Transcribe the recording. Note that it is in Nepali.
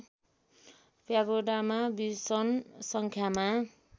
प्यागोडामा विषम सङ्ख्यामा